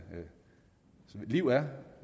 liv er